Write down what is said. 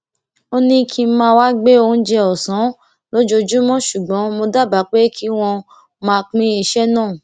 ó ní kí n máa wá gbé oúnjẹ òsán lójoojúmó ṣùgbọn mo dábàá pé kí wón máa pín iṣé náà